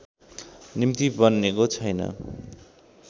निम्ति बनेको छैन